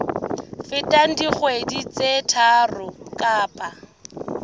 feteng dikgwedi tse tharo kapa